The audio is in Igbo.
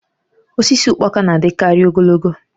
Osisi ụkpaka na-adịkarị ogologo